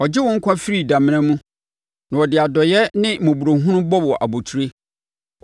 ɔgye wo nkwa firi damena mu na ɔde adɔeɛ ne mmɔborɔhunu bɔ wo abotire,